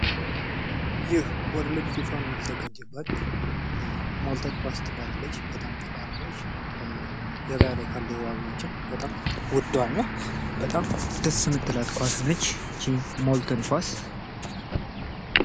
ይህ ወርልድ ፊፋ የሚዘጋጅበት ሞልተን ኳስ ትባላለች። በጣም ጠንካራ ነች። ገበያ ላይ ኳሶችም በጣም ወዷና በጣም ደስ የምትል ኳስ ነች። ይች ሞልተን ኳስ።